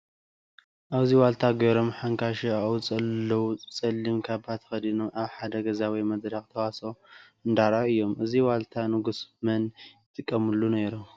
ኣብዚ ዋልታ ገይሮም ሓንካሾ ኣብኡ ዘለው ፀሊም ካባ ተከዲኖም ኣብ ሓደ ገዛ ወይ መድረክ ተዋስኦ እንዳኣርኣዩ እዮም::እዚ ዋልታ ንጉስ መን ይጠቀምሉ ነይሮም ?